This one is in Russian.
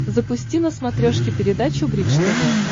запусти на смотрешке передачу бридж тв